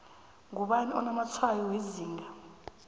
ngubani onamatshwayo wezinga